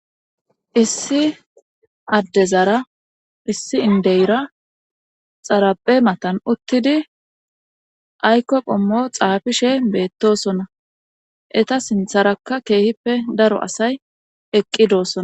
Issi addezara issi indeyra xaraphe matan uttidi aykko qhommo xaafishe beettosona eta sintharakka keehippe daro asay eqqidoosona